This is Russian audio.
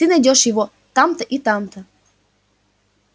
ты найдёшь его там-то и там-то